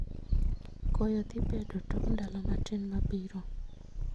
Koyo dhi bedo tok ndalo matin mabiro